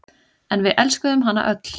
En við elskuðum hana öll.